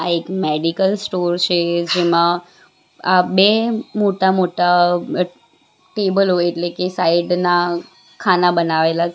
આ એક medical store છે જેમાં આ બે મોટા મોટા ટેબલો એટલે કે સાઈડ ના ખાના બનાવેલા છે.